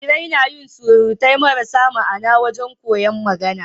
Jarirai nayin surutai marasa ma'Ana wajan koyar magAna